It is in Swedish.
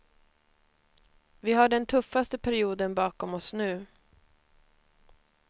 Vi har den tuffaste perioden bakom oss nu.